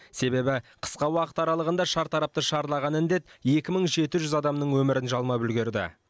себебі қысқа уақыт аралығында шартарапты шарлаған індет екі мың жеті жүз адамның өмірін жалмап үлгерді